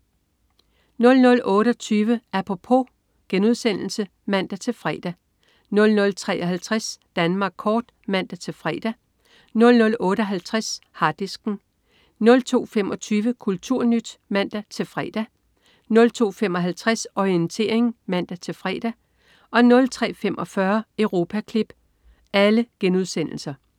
00.28 Apropos* (man-fre) 00.53 Danmark kort* (man-fre) 00.58 Harddisken* 02.25 KulturNyt* (man-fre) 02.55 Orientering* (man-fre) 03.45 Europaklip*